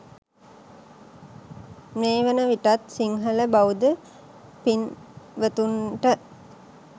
මේ වන විටත් සිංහල බෞද්ධ පින්වතුන්ට